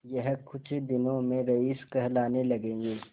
यह कुछ दिनों में रईस कहलाने लगेंगे